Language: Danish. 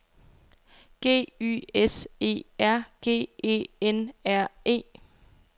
G Y S E R G E N R E